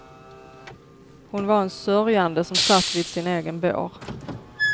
Hon var en sörjande som satt vid sin egen bår.